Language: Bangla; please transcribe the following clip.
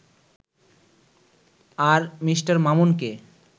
আর মি. মামুনকে